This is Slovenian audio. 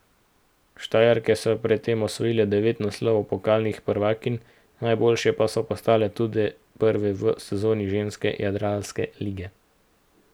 Štajerke so pred tem osvojile devet naslovov pokalnih prvakinj, najboljše pa so postale tudi v prvi sezoni ženske jadranske lige.